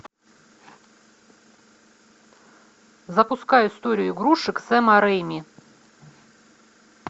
запускай историю игрушек сэма рейми